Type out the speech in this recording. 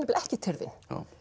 ekki tyrfin